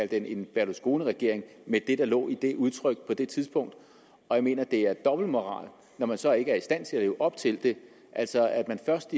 den en berlusconiregering med det der lå i det udtryk på det tidspunkt jeg mener at det er dobbeltmoralsk når man så ikke selv er i stand til at leve op til det altså at man først